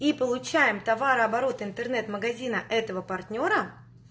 и получаем товарооборот интернет-магазина этого партнёра